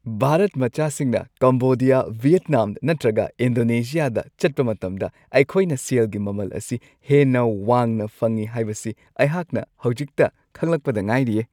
ꯚꯥꯔꯠ ꯃꯆꯥꯁꯤꯡꯅ Cambodia, Vietnam ꯅꯠꯇ꯭ꯔꯒ ꯏꯟꯗꯣꯅꯦꯁꯤꯌꯥꯗ ꯆꯠꯄ ꯃꯇꯝꯗ ꯑꯩꯈꯣꯏꯅ ꯁꯦꯜꯒꯤ ꯃꯃꯜ ꯑꯁꯤ ꯍꯦꯟꯅ ꯋꯥꯡꯅ ꯐꯪꯉꯤ ꯍꯥꯏꯕꯁꯤ ꯑꯩꯍꯥꯛꯅ ꯍꯧꯖꯤꯛꯇ ꯈꯪꯂꯛꯄꯗ ꯉꯥꯏꯔꯤꯌꯦ ꯫